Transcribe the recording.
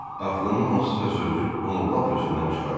Atlının hansısa sözü onu lap özündən çıxardı.